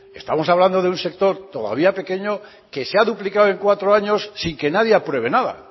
estamos hablando de un sector todavía pequeño que se ha duplicado en cuatro años sin que nadie apruebe nada